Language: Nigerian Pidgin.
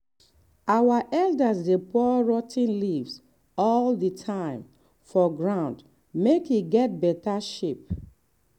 our elders dey pour rot ten leaves all the time for ground make e get better shape.